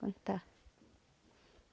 contar